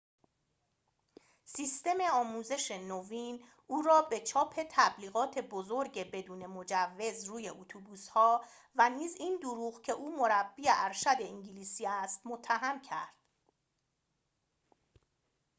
سیستم آموزش نوین او را به چاپ تبلیغات بزرگ بدون مجوز روی اتوبوس‌ها و نیز این دروغ که او مربی ارشد انگلیسی است متهم کرد